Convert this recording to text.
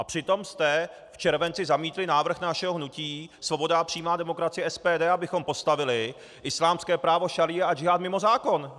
A přitom jste v červenci zamítli návrh našeho hnutí Svoboda a přímá demokracie, SPD, abychom postavili islámské právo šaría a džihád mimo zákon.